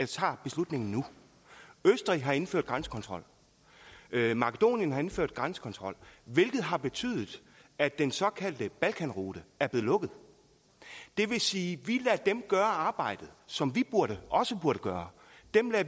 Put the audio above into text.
tager beslutningen nu østrig har indført grænsekontrol makedonien har indført grænsekontrol hvilket har betydet at den såkaldte balkanrute er blevet lukket det vil sige vi lader dem gøre arbejdet som vi også burde gøre